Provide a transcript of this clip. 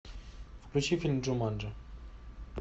включи фильм джуманджи